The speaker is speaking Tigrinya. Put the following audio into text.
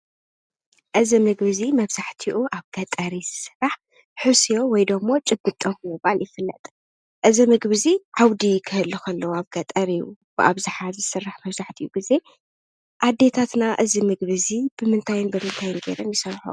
እዚ ምግቢ እዚ መብዛሕቲኡ ኣብ ገጠር እዩ ዝስራሕ። ሕስዮ ወይ ድማ ጭብጦ ብምባል ይፍለጥ። እዚ ምግቢ እዚ ዓውዲ ክህሊ ከሎ ኣብ ገጠር እዩ ብኣብዝሓ ዝስራሕ መብዛሕቲኡ ግዘ ኣዴታትና እዚ ምግቢ እዚ ብምንታይ ብምንታን ጌረን ይሰርሐኦ?